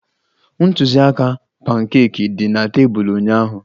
Ntụziaka pankeeki dị na tebụl ụnyaahụ